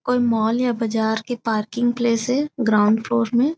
कोई मॉल हे बजार के पार्किंग प्लेस हे ग्राउंड फ्लोर में